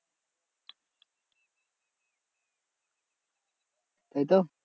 তাইতো?